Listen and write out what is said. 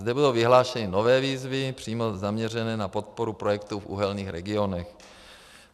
Zde bylo vyhlášení nové výzvy přímo zaměřené na podporu projektů v uhelných regionech.